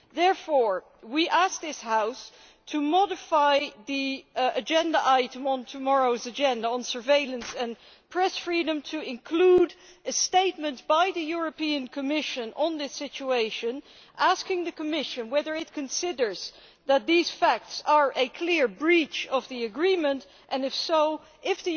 Therefore, we ask this House to modify the item on tomorrow's agenda on surveillance and press freedom to include a statement by the Commission on this situation, asking the Commission whether it considers that these facts constitute a clear breach of the agreement and, if so, whether it